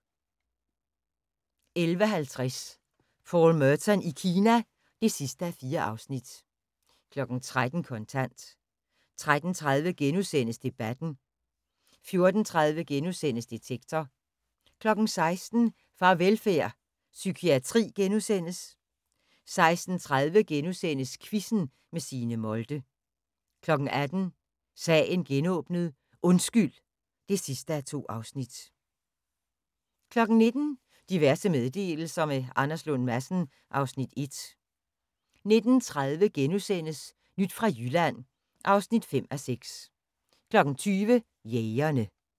11:50: Paul Merton i Kina (4:4) 13:00: Kontant 13:30: Debatten * 14:30: Detektor * 16:00: Farvelfærd: Psykiatri * 16:30: Quizzen med Signe Molde * 18:00: Sagen genåbnet: Undskyld (2:2) 19:00: Diverse meddelelser – med Anders Lund Madsen (Afs. 1) 19:30: Nyt fra Jylland (5:6)* 20:00: Jægerne